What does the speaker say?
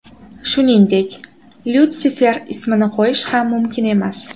Shuningdek, Lyutsifer ismini qo‘yish ham mumkin emas.